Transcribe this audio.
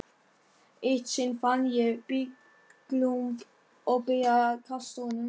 Eitt sinn fann ég blýklump og byrjaði að kasta honum.